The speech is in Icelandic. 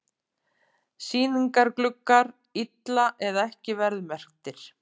Sýningargluggar illa eða ekki verðmerktir